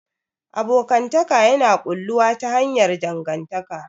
Abokantaka yana ƙulluwa ta hanyar dangantaka.